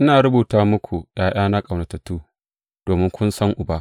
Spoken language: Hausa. Ina rubuta muku, ’ya’yana ƙaunatattu, domin kun san Uba.